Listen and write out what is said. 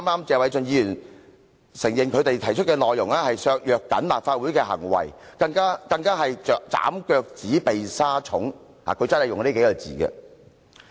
謝偉俊議員剛才也承認他們提出的內容會削弱立法會，他更以"斬腳趾避沙蟲"來形容。